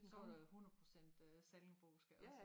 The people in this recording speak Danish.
Så var der øh 100% øh sallingbosk og altså